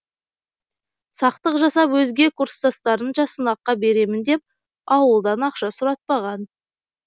сақтық жасап өзге курстастарынша сынаққа беремін деп ауылдан ақша сұратпаған